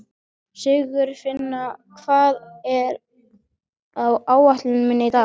Sigurfinna, hvað er á áætluninni minni í dag?